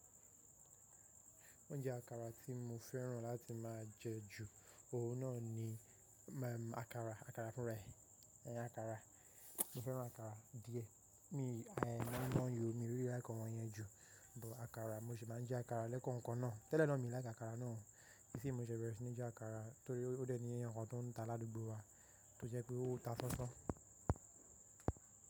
Oúnjẹ àkàrà tí mo féràn láti máa jẹ ju òun náà ni, àkàrà, àkàrà fún ra ẹ̀, ẹn àkàrà. Mo féràn àkàrà díẹ̀. Mi, moinmoin yó, mi rí i like awọn yẹn jù, but àkàrà mo sì máa ń jẹ àkàrà lẹ́kọ̀ọ́ kan náà. Tẹ́lẹ̀ náà mi i like àkàrà náà, isinyi ní mo ṣẹ̀ bẹ̀re sí ní jẹ àkàrà torí ó dé ní ẹeyan kan tó ń ta ládùúgbò wa tó jẹ́ pé ó ń ta sansan.